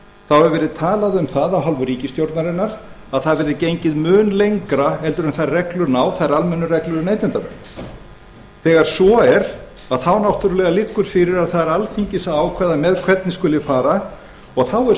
þá hefur verið talað um það af hálfu ríkisstjórnarinnar að það verði gengið mun lengra heldur en þær almennu reglur ná um neytendavernd þegar svo er þá náttúrlega liggur fyrir að það er alþingis að ákveða með hvernig skuli fara og þá er